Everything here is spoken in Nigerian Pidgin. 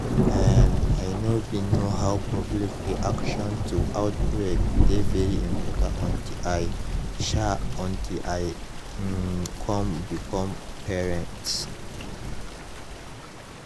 um i know bin know how public reaction to outbreak dey very important until i um until i um come become parents